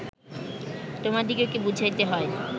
তোমাদিগকে বুঝাইতে হয়